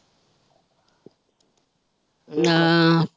ਹਾਂ।